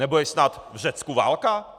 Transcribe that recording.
Nebo je snad v Řecku válka?